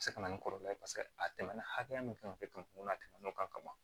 A bɛ se ka na ni kɔlɔlɔ ye paseke a tɛmɛna hakɛya min kan ka kɛ ten kunna a tɛmɛn'o kan ka ban